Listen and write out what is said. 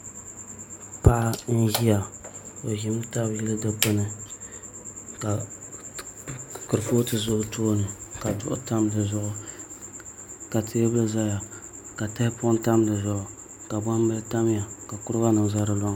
Paɣa n ʒiya o ʒimi tabi dikpuni ka kurifooti ʒɛ o tooni ka duɣu tam dizuɣu ka teebuli ʒɛya ka tahapoŋ tam dizuɣu ka gbambili tamya ka kuriga nim ʒɛ di loŋni